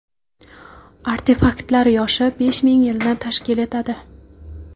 Artefaktlar yoshi besh ming yilni tashkil etadi.